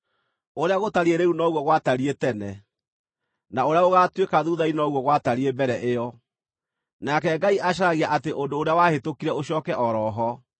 Ũrĩa gũtariĩ rĩu noguo gwatariĩ tene, na ũrĩa gũgaatuĩka thuutha-inĩ noguo gwatariĩ mbere ĩyo; nake Ngai acaragia atĩ ũndũ ũrĩa wahĩtũkire ũcooke o ro ho.